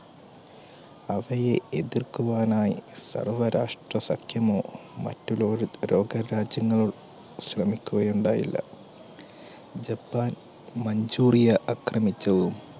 അവയെ എതിർക്കുവാനായി സർവ്വരാഷ്ട്രസഖ്യമോ മറ്റ് ലോക പുരോഗമ രാജ്യങ്ങൾ ശ്രമിക്കുക ഉണ്ടായില്ല. Japan Manchuria അക്രമിച്ചു